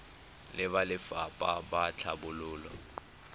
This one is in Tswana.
le ba lefapha la tlhabololo